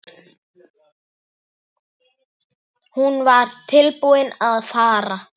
Hún var tilbúin að fara.